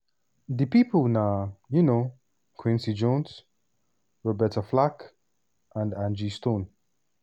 di pipo na um quincy jones roberta flack and angie stone.